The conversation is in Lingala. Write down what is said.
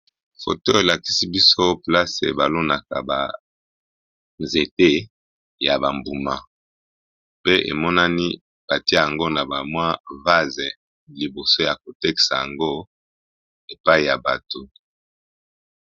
Photo elakisi biso place ba lonaka ba nzete ya ba mbuma pe emonani batiye yango na ba vase liboso Yako tekisa yango na bato.